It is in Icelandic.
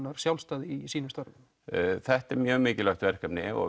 þar sjálfstæði í sínum störfum þetta er mikilvægt verkefni og